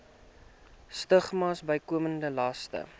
stigmas bykomende laste